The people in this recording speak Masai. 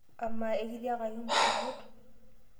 Amaa ekitiakaki mpukunot?